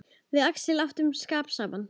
Við Axel áttum skap saman.